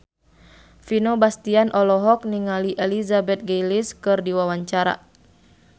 Vino Bastian olohok ningali Elizabeth Gillies keur diwawancara